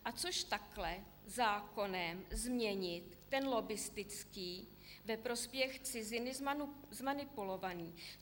A což takhle zákonem změnit ten lobbistický, ve prospěch ciziny zmanipulovaný?